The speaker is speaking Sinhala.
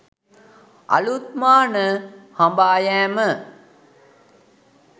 අලුත් මාන හඹායෑම